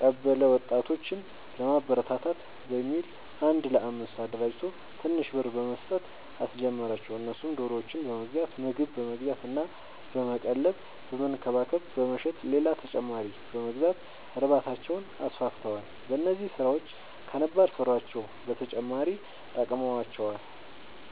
ቀበለ ወጣቶችን ለማበረታታት በሚል አንድ ለአምስት አደራጅቶ ትንሽ ብር በመስጠት አስጀመራቸው እነሱም ዶሮዎችን በመግዛት ምግብ በመግዛት እና በመቀለብ በመንከባከብ በመሸጥ ሌላ ተጨማሪ በመግዛት እርባታቸውን አስፋፍተዋል። በዚህም ስራቸው ከነባር ስራቸው በተጨማሪ ጠቅሞዋቸዋል።